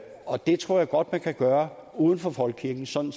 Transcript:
og det tror jeg godt man kan gøre uden for folkekirken sådan